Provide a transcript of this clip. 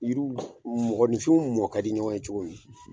Yiriw mɔgɔninfinw mɔn ka di ɲɔgɔn ye cogo min.